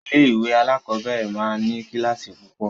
Ilé-ìwé alákọ̀ọ́bẹ̀rẹ̀ máa ń ní kíláàsì púpọ̀.